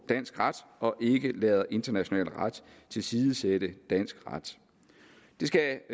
dansk ret og ikke lader international ret tilsidesætte dansk ret det skal